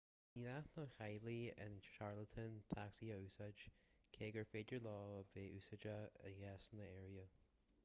ní gnách do theaghlaigh in charlotte tacsaithe a úsáid cé gur féidir leo a bheith úsáideach i gcásanna áirithe